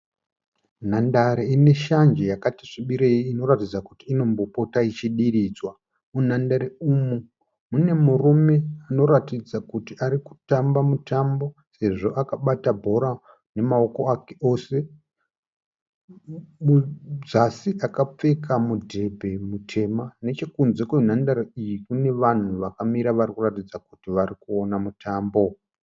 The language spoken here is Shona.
Nhandare ine shanje yakati svibirei inoratidza kuti inombopota ichidiridzwa. Munhandare umu mune murume anoratidza kuti arikufamba mutambo.